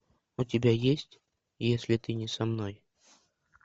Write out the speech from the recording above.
у тебя есть если ты не со мной